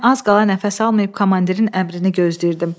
Mən az qala nəfəs almayıb komandirin əmrini gözləyirdim.